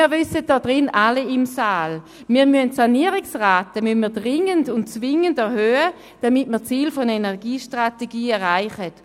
Wir alle hier im Saal wissen, dass wir die Sanierungsraten dringend und zwingend erhöhen müssen, damit wir die Ziele der Energiestrategie erreichen.